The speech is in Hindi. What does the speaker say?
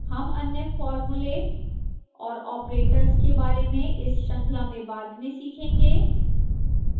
हम अन्य formulae और operators के बारे में इस श्रृंखला में बाद में सीखेंगे